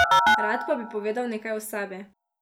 Rad pa bi povedal nekaj o sebi.